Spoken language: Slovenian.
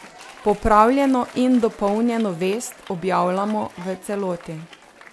Popravljeno in dopolnjeno vest objavljamo v celoti.